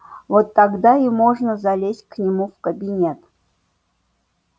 вот тогда и можно залезть к нему в кабинет